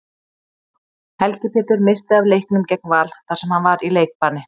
Helgi Pétur missti af leiknum gegn Val þar sem hann var í leikbanni.